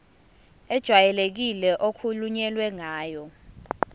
ejwayelekile okukhulunywe ngayo